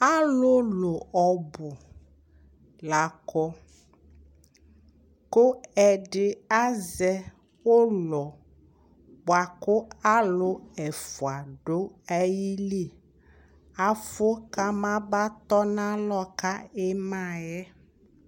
Alʋlʋ ɔbʋ la kɔ kʋ ɛdɩ azɛ ʋlɔ bʋa kʋ alʋ ɛfʋa dʋ ayili Afʋ kamabanatɔnalɔ ka ɩma yɛ